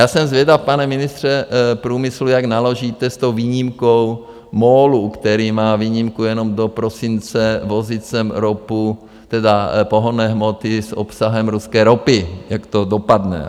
Já jsem zvědav, pane ministře průmyslu, jak naložíte s tou výjimkou MOLu, který má výjimku jenom do prosince vozit sem ropu, tedy pohonné hmoty s obsahem ruské ropy, jak to dopadne.